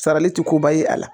Sarali ti koba ye a la